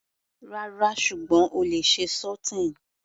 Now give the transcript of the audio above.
Rárá, ṣùgbọ́n o lè ṣe sauteing.